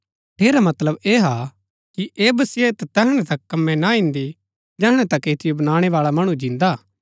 ठेरा मतलब ऐह हा कि ऐह वसियत तैहणै तक कमै ना इन्दै जैहणै तक ऐतिओ बनाणै बाळा मणु जिन्दा हा